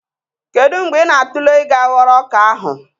Kedu mgbe ị na-atụle ịga ghọrọ ọka ahụ?